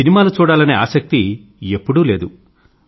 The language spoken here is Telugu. సినిమాలు చూడాలనే ఆసక్తి ఎప్పుడూ లేదు